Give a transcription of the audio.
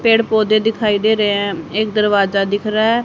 पेड़ पौधे दिखाई दे रहे हैं एक दरवाजा दिख रहा है।